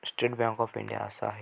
State bank of India असं आहे.